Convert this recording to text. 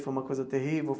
Foi uma coisa terrível?